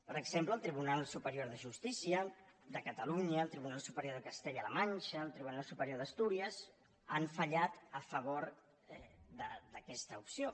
per exemple el tribunal superior de justícia de catalunya el tribunal superior de castella la manxa el tribunal superior d’astúries han fallat a favor d’aquesta opció